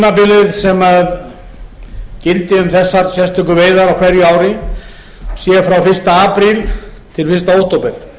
að tímabilið sem gildi um þessar sérstöku veiðar á hverju ári sé frá fyrsta apríl til